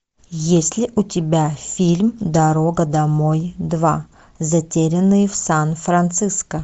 есть ли у тебя фильм дорога домой два затерянные в сан франциско